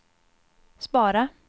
spara